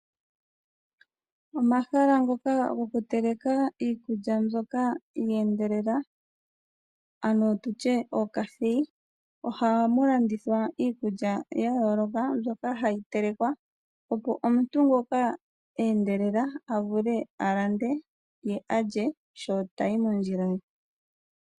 Omahala ngoka goku teleka iikulya mbyoka yeendelela, ano tutye ookasi, ohamu landithwa iikulya ya yooloka opo omuntu ngoka eendelela alye sho tayi moondjila ye.